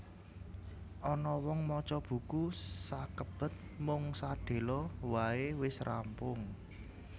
Ana wong maca buku sakebet mung sedhela wae wis rampung